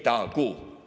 Tehtagu!